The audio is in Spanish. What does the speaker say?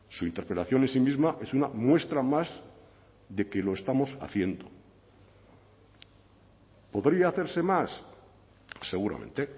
su interpelación en sí misma es una muestra más de que lo estamos haciendo podría hacerse más seguramente